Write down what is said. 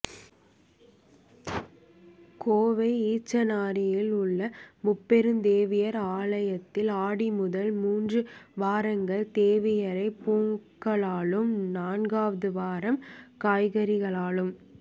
கோவை ஈச்சனாரியில் உள்ள முப்பெருந்தேவியர் ஆலயத்தில் ஆடி முதல் மூன்று வாரங்கள் தேவியரை பூக்களாலும் நான்காவது வாரம் காய்கறிகளாலும்